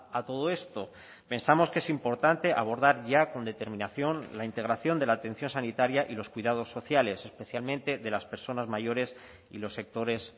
a todo esto pensamos que es importante abordar ya con determinación la integración de la atención sanitaria y los cuidados sociales especialmente de las personas mayores y los sectores